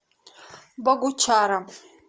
богучаром